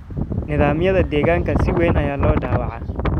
Nidaamyada deegaanka si weyn ayaa loo dhaawacay.